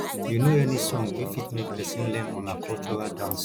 you know any song wey fit make person learn una cultural dance